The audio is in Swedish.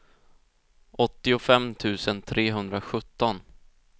åttiofem tusen trehundrasjutton